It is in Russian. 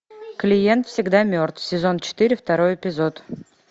клиент всегда мертв сезон четыре второй эпизод